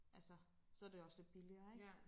Altså så det også lidt billigere ikke